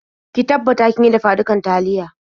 Ki tabbatar kin yi dafa-dukar taliya.